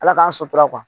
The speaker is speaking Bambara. Ala k'an sotura